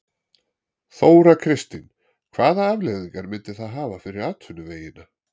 Þóra Kristín: Hvaða afleiðingar myndi það hafa fyrir atvinnuvegina?